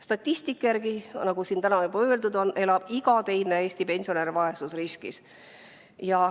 Statistika järgi, nagu siin on täna juba öeldud, elab iga teine Eesti pensionär vaesusriskis.